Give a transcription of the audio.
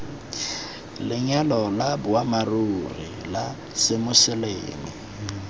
lenyalo la boammaaruri la semoseleme